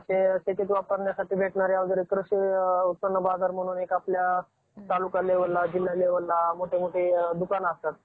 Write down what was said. आपल्या स्वराज्यामध्ये सामील करून घेतला होता. छत्रपती शिवाजी महाराजांनी महाराष्ट्रामध्ये मोलाची कामगिरी बजावून,